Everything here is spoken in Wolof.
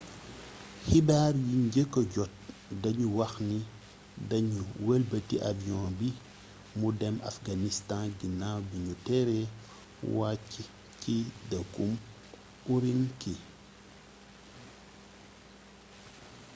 xibaar yiñ njëkka jot dañu waxni dañu wëlbati avion bi mu dem afghanistan ginaaw bi ñu teree wàcci ci dëkkub ürümqi